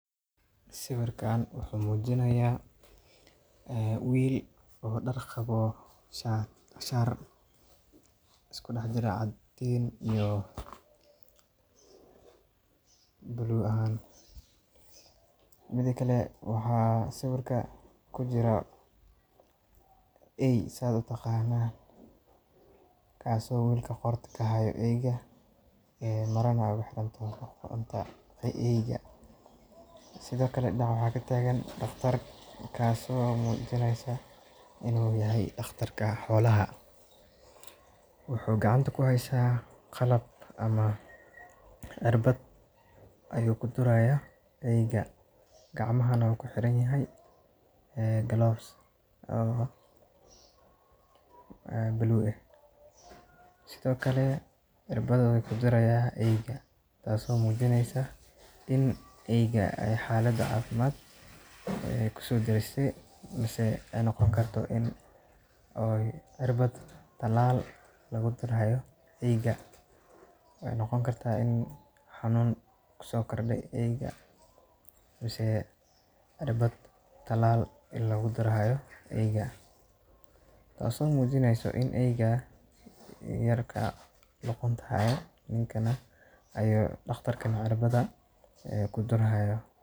Sawirkaan wuxuu mujinayaa wiil oo daar qaba, shaati isku dhag ah oo caddaan iyo buluug ah. Sidoo kale sawirka waxaa ku jira eey kaas oo wiilka qoorta ka hayo, marna qoorta ugu xiranyahay eyga. Sidoo kale dhinaca waxaa ka taagan dhakhtar, kaas oo muujinayo inuu yahay dhakhtarka xoolaha. Wuxuu gacanta ku hayaa qalab ama cirbad uu ku durayo eyga, gacmuhuna waxaa ku xiranyihiin gloves buluug ah. Sidoo kale irbadda ayuu ku durayaa eyga taas oo muujinayso in eyga xaalad caafimaad lagu soo daray ama ay noqon karto in cirbad talaal lagu durayo eyga, taas oo muujinayso in eygu yarka luqunta uu hayo , dhakhtarkuna cirbad ku durayo.